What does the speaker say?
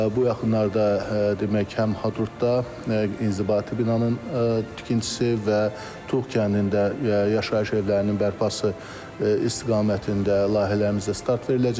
Bu yaxınlarda demək, həm Hadrutda inzibati binanın tikintisi və Tuğ kəndində yaşayış evlərinin bərpası istiqamətində layihələrimizə start veriləcəkdir.